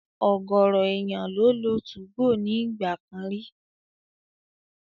Ọ̀gọ̀rọ̀ èèyàn ló lo 2go ní ìgbà kan rí